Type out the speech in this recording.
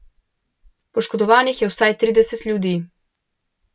Poškodovanih je vsaj trideset ljudi.